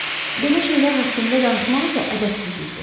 Belə şeylər haqqında danışmaq isə ədəbsizlikdir.